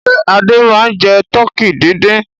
Ṣé Adé máa ń jẹ tọkí dídín?